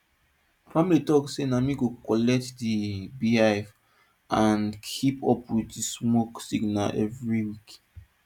family talk say na me go collect di beehive and keep up with di smoke signal every week